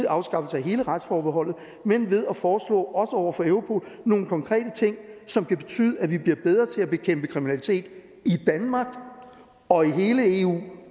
afskaffelse af hele retsforbeholdet men ved at foreslå over for europol nogle konkrete ting som kan betyde at vi bliver bedre til at bekæmpe kriminalitet i danmark og i hele eu